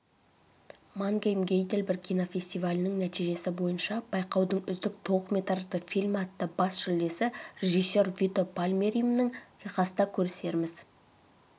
мангейм-гейдельберг кинофестивалінің нәтижесі бойынша байқаудың үздік толықметражды фильмі атты бас жүлдесі режиссер вито пальмиеримнің техаста көрісерміз